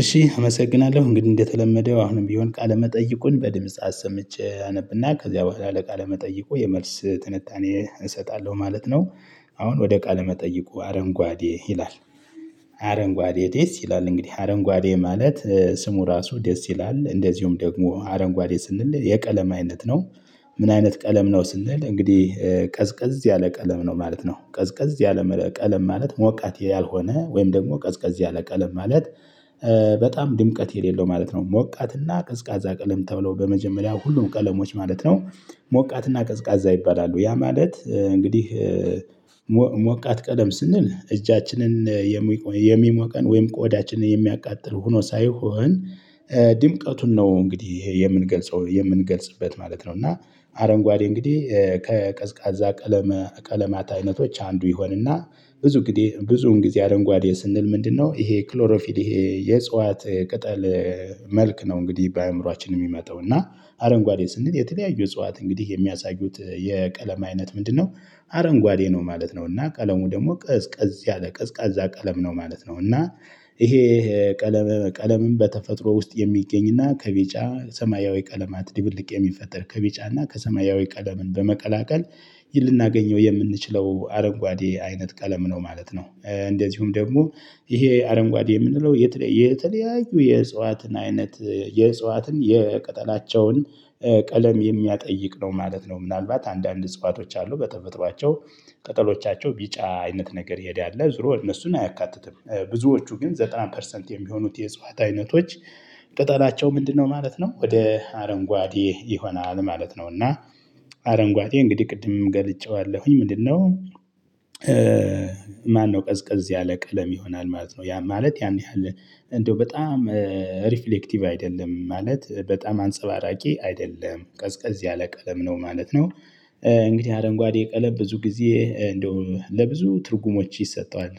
እሺ አመሰግናለሁ እንግዲህ እንደተለመደው አሁንም ቢሆን ቃለ መጠይቁን በድምጽ አሰምቼ አነብና ከዚያ በኋላ ለቃለ መጠይቁ የመልስ ትንታኔ እሰጣለሁ ማለት ነው። አሁን ወደ ቃለ መጠይቁ አረንጓዴ ይላል። አረንጓዴ ደስ ይላል እንግዲህ አረንጓዴ ማለት ስሙ ራሱ ደስ ይላል እንደዚሁም ደግሞ አረንጓዴ ስንል የቀለም አይነት ነው። ምን አይነት ቀለም ነው ስንል እንግዲህ ቀዝቀዝ ያለ ቀለም ነው ማለት ነው። ቀዝቀዝ ያለ ቀለም ማለት ሞቃት ያልሆነ ወይም ደግሞ ቀዝቀዝ ያለ ቀለም ማለት። በጣም ድምቀት የሌለው ማለት ነው። ሞቃትና ቀዝቃዛ ቀለም ተብሎ በመጀመሪያ ሁሉም ቀለሞች ማለት ነው። ሞቃትና ቀዝቃዛ ይባላሉ ያ ማለት እንግዲህ። ሞቃት ቀለም ስንል እጃችንን የሚሞቀን ወይም ቆዳችን የሚያቃጥል ሆኖ ሳይሆን። ድምቀቱን ነው እንግዲህ ይሄ የምንገልጸው የምንገልጽበት ማለት ነው። እና አረንጓዴ እንግዲህ ከቀዝቃዛ ቀለመ ቀለማት አይነቶች አንዱ ይሆንና። ብዙ ጊዜ ብዙን ጊዜ አረንጓዴ ስንል ምንድነው? ይሄ ክሎሮፊል ይሄ የእጽዋት ቅጠል መልክ ነው። እንግዲህ በአእምሮአችን የሚመጣው እና አረንጓዴ ስንል የተለያዩ እጽዋት እንግዲህ የሚያሳዩት የቀለም አይነት ምንድነው? አረንጓዴ ነው ማለት ነው። እና ቀለሙ ደግሞ ቀዝቃዝ ያለ ቀዝቃዛ ቀለም ነው ማለት ነው። እና ይሄ ቀለም ቀለምም በተፈጥሮ ውስጥ የሚገኝና ከቤጫ ሰማያዊ ቀለማት ድብልቅ የሚፈጠር ከቢጫና ከሰማያዊ ቀለምን በመቀላቀል። ልናገኘው የምንችለው አረንጓዴ አይነት ቀለም ነው ማለት ነው። እንደዚሁም ደግሞ ይሄ አረንጓዴ የምንለው የተለያዩ የእጽዋትን አይነት የእጽዋትን የቅጠላቸውን ቀለም የሚያጠይቅ ነው ማለት ነው። ምናልባት አንዳንድ እጽዋቶች አሉ በተፈሮቸው ቅጠሎቻቸው ቢጫ አይነት ነገር የሄደ አለ ዞሮ እነሱን አያካትትም። ብዙዎቹ ግን ዘጠና ፐርሰንት የሚሆኑት የእፅዋት አይነቶች ቅጠላቸው ምንድነው ማለት ነው። ወደ አረንጓዴ ይሆናል ማለት ነው። እና አረንጓዴ እንግዲህ ቅድም ገልጨዋለሁኝ ምንድነው? ማነው ቀዝቀዝ ያለ ቀለም ይሆናል ማለት ነው። ያ ማለት ያን ያህል እንደው በጣም ሪፍሌክቲቭ አይደለም ማለት በጣም አንጸባራቂ አይደለም ቀዝቀዝ ያለ ቀለም ነው ማለት ነው። እንግዲህ አረንጓዴ ቀለም ብዙ ጊዜ እንደው ለብዙ ትርጉሞች ይሰጠዋል።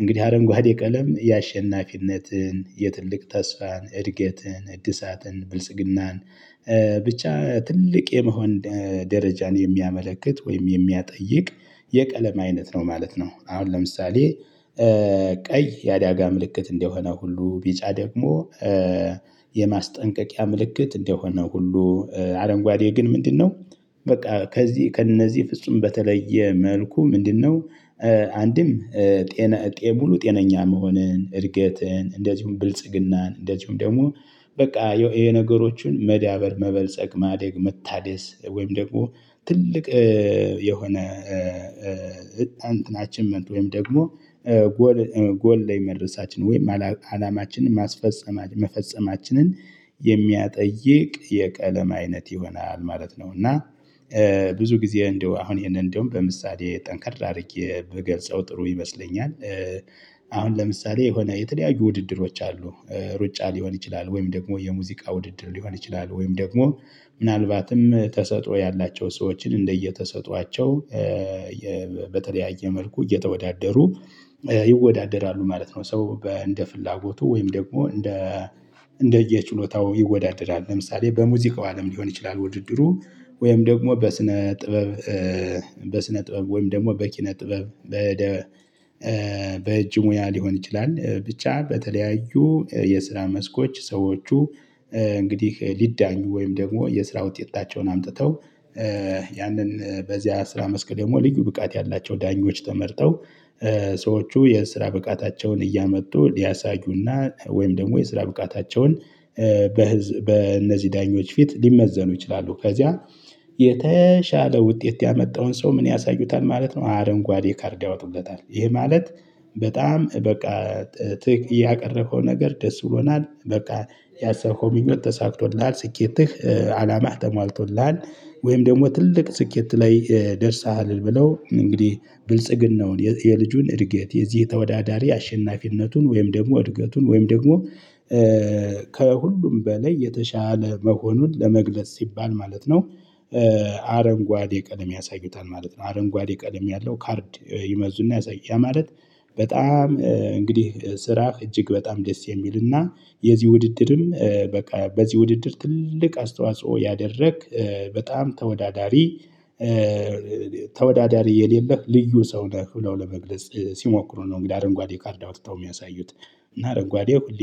እንግዲህ አረንጓዴ ቀለም ያአሸናፊነትን የትልቅ ተስፋን እድገትን እድሳትን ብልጽግናን። ብቻ ትልቅ የመሆን ደረጃን የሚያመለክት ወይም የሚያጠይቅ የቀለም አይነት ነው ማለት ነው። አሁን ለምሳሌ ቀይ የአደጋ ምልክት እንደሆነ ሁሉ ቢጫ ደግሞ የማስጠንቀቂያ ምልክት እንደሆነ ሁሉ አረንጓዴ ግን ምንድነው? በቃ ከዚህ ከእነዚህ ፍጹም በተለየ መልኩ ምንድነው? አንድም ጤነ ሙሉ ጤነኛ መሆንን እድገትን እንደዚሁም ብልጽግናን እንደዚሁም ደግሞ በቃ የነገሮችን መዳበር መበልጸግ ማደግ መታደስ ወይም ደግሞ ትልቅ የሆነ እንትን አችብመንት ወይም ደግሞ ጎል ላይ መድረሳችን ወይም አላማችንን ማስፈጸማችን ማፈጸማችንን የሚያጠይቅ የቀለም አይነት ይሆናል ማለት ነው። እና ብዙ ጊዜ እንደው አሁን ይሄንን እንደውም በምሳሌ ጠንካራ አድርጌ በገልጸው ጥሩ ይመስለኛል። አሁን ለምሳሌ የሆነ የተለያዩ ውድድሮች አሉ። ሩጫ ሊሆን ይችላል ወይም ደግሞ የሙዚቃ ውድድር ሊሆን ይችላል ወይም ደግሞ ምናልባትም ተሰጥኦ ያላቸው ሰዎችን እንደየተሰጧቸው በተለያየ መልኩ እየተወዳደሩ ይወዳደራሉ ማለት ነው። ሰው በእንደ ፍላጎቱ ወይም ደግሞ እንደ እንደየችሎታው ይወዳደራል። ለምሳሌ በሙዚቃው አለም ሊሆን ይችላል። ውድድሩ ወይም ደግሞ በስነ ጥበብ በስነ ጥበብ ወይም ደግሞ በኪነ ጥበብ በእጅ ሙያ ሊሆን ይችላል ብቻ በተለያዩ የስራ መስኮች ሰዎቹ እንግዲህ ሊዳኙ ወይም ደግሞ የስራ ውጤታቸውን አምጥተው ያንን በዚያ ስራ መስክ ደግሞ ልዩ ብቃት ያላቸው ዳኞች ተመርጠው ሰዎቹ የስራ ብቃታቸውን እያመጡ ሊያሳዩና ወይም ደግሞ የስራ ብቃታቸውን በእነዚህ ዳኞች ፊት ሊመዘኑ ይችላሉ። ከዚያ የተሻለ ውጤት ያመጣውን ሰው ምን ያሳዩታል ማለት ነው። አረንጓዴ ካርድ ያወጡለታል። ይሄ ማለት በጣም በቃ ትክ ያቀረብከው ነገር ደስ ብሎናል በቃ ያሰብከው ሚኞት ተሳክቶልሃል ስኬትህ አላማ ተሟልቶልሃል። ወይም ደግሞ ትልቅ ስኬት ላይ ደርሰሃል ብለው እንግዲህ ብልጽግናውን የልጁን እድገት የዚህ ተወዳዳሪ አሸናፊነቱን ወይም ደግሞ እድገቱን ወይም ደግሞ ከሁሉም በላይ የተሻለ መሆኑን ለመግለጽ ሲባል ማለት ነው። አረንጓዴ ቀደም ያሳዩታል ማለት ነው። አረንጓዴ ቀደም ያለው ካርድ ይመዙና ያ ማለት በጣም እንግዲህ ስራ እጅግ በጣም ደስ የሚልና። የዚህ ውድድርም በቃ በዚህ ውድድር ትልቅ አስተዋጽኦ ያደረግ በጣም ተወዳዳሪ ተወዳዳሪ የሌለህ ልዩ ሰው ነህ ብለው ለመግለጽ ሲሞክሩ ነው። እንግዲህ አረንጓዴ ካርዳ አውጥተው የሚያሳዩት። እና አረንጓዴ